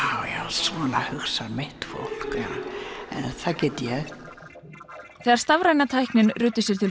svona hugsar mitt fólk en það get ég þegar stafræna tæknin ruddi sér til